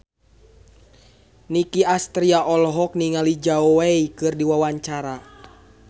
Nicky Astria olohok ningali Zhao Wei keur diwawancara